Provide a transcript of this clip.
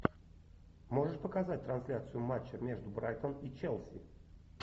можешь показать трансляцию матча между брайтон и челси